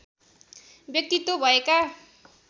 व्यक्तित्व भएका